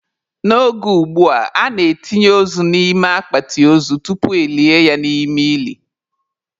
N'oge ugbua, a na-etinye ozu n'ime akpati ozu tupu elie ya n'ime ili.